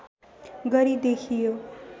गरी देखियो